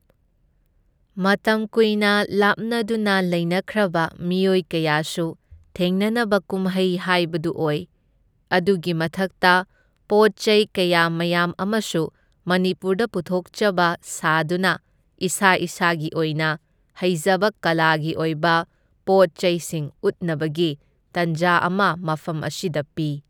ꯃꯇꯝ ꯀꯨꯏꯅ ꯂꯥꯞꯅꯗꯨꯅ ꯂꯩꯅꯈ꯭ꯔꯕ ꯃꯤꯑꯣꯏ ꯀꯌꯥꯁꯨ ꯊꯦꯡꯅꯅꯕ ꯀꯨꯝꯍꯩ ꯍꯥꯏꯕꯗꯨ ꯑꯣꯏ, ꯑꯗꯨꯒꯤ ꯃꯊꯛꯇ ꯄꯣꯠ ꯆꯩ ꯀꯌꯥ ꯃꯌꯥꯝ ꯑꯃꯁꯨ ꯃꯅꯤꯄꯨꯔꯅ ꯄꯨꯊꯣꯛꯆꯕ ꯁꯥꯗꯨꯅ ꯏꯁꯥ ꯏꯁꯥꯒꯤ ꯑꯣꯏꯅ ꯍꯩꯖꯕ ꯀꯂꯥꯒꯤ ꯑꯣꯏꯕ ꯄꯣꯠ ꯆꯩꯁꯤꯡ ꯎꯠꯅꯕꯒꯤ ꯇꯥꯟꯖꯥ ꯑꯃ ꯃꯐꯝ ꯑꯁꯤꯗ ꯄꯤ꯫